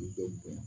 U bɛɛ bonya